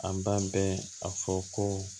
An b'an bɛɛ a fɔ ko